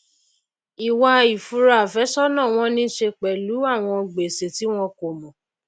ìwà ìfura àfésònà wọn ní í se pèlú àwọn gbèsè tí wọn kòmò